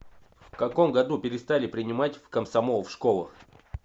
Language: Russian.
в каком году перестали принимать в комсомол в школах